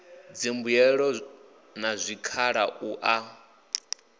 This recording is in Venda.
dzimbuelo na zwikhala u ya